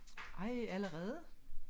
Ej allerede